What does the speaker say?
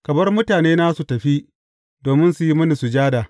Ka bar mutanena su tafi domin su yi mini sujada.